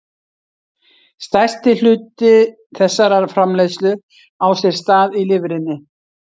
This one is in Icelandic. Stærstur hluti þessarar framleiðslu á sér stað í lifrinni.